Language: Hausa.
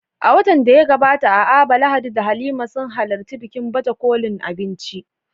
A watan da ya gabata a Aba, Lahadi da Halima sun halarci bikin baje kolin abinci